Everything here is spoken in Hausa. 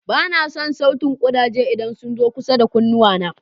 Ba na son sautin ƙudaje idan sun zo kusa da kunnuwana.